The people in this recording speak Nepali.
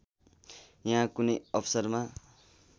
यहाँ कुनै अवसरमा